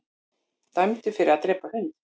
Dæmdur fyrir að drepa hund